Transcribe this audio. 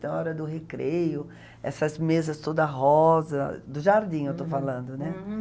Tem a hora do recreio, essas mesas toda rosa, do jardim eu estou falando, né? Uhum.